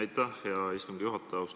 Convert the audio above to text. Aitäh, hea istungi juhataja!